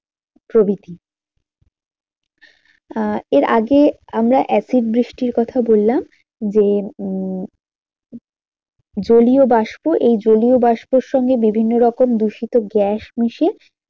প্রভৃতি আহ এর আগে আমরা acid বৃষ্টির কথা বললাম যে উম জলীয়বাষ্প এই জলীয়বাষ্পের সঙ্গে বিভিন্ন রকম দূষিত গ্যাস মিশিয়ে